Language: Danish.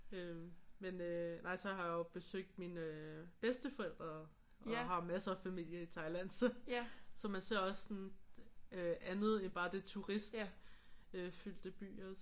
Øh men øh nej så har jeg jo besøgt mine øh bedsteforældre og har masser af familie i Thailand så. Så man ser også sådan øh andet end bare det turistfyldte byer